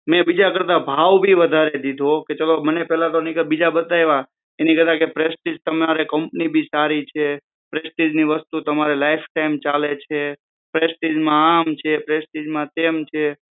મે બીજા કરતા ભાવ બી વધારે દીધો મને પહેલાં બીજા બતાયવા એની કરતા પ્રેસ્ટીજ તમારે કંપની ભી સારી છે પ્રેસ્ટીજ ની વસ્તુ તમારે લાઈફ ટાઈમ ચાલે છે પ્રેસ્ટીજ માં આમ છે પ્રેસ્ટીજ તેમ છે